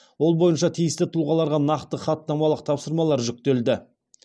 ол бойынша тиісті тұлғаларға нақты хаттамалық тапсырмалар жүктелді